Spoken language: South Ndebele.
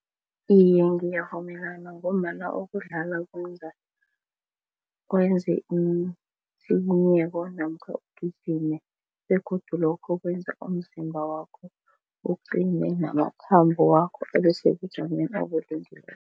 Iye, ngiyavumelana ngombana ukudlala kwenza kwenze namkha ugijime begodu lokho kwenza umzimba wakho uqine namathambo wakho abesebujameni